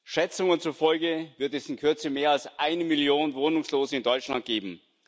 Schätzungen zufolge wird es in Kürze mehr als eine Million Wohnungslose in Deutschland geben.